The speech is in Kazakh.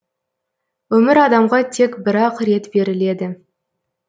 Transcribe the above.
өмір адамға тек бір ақ рет беріледі